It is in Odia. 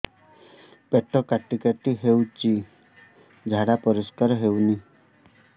ପେଟ କାଟି କାଟି ହଉଚି ଝାଡା ପରିସ୍କାର ହଉନି